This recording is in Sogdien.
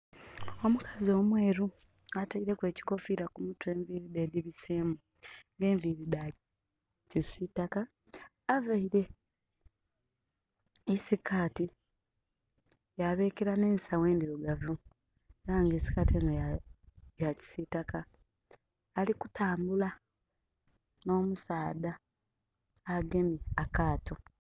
Omukazi omweru ataireku ekikofira ku mutwe, enviri dhe edhi bisemu nga dha kisitaka, avaire nhi sikati ya bekera nhe'sagho endhirugavu era nga sikati enho ya kisitaka. Ali kutambula nho musaadha agemye akaato.